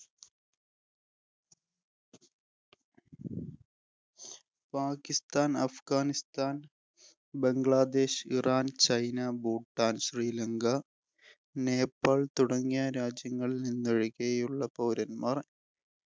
Pakistan, Afghanistan‍, Bangladesh, Iran, China, Bhutan, Sri Lanka, Nepal‍ തുടങ്ങിയ രാജ്യങ്ങളില്‍ നിന്നൊഴികെയുള്ള പൗരന്മാര്‍